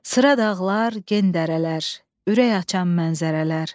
Sıra dağlar, gen dərələr, ürək açan mənzərələr.